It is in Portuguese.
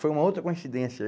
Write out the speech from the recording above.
Foi uma outra coincidência.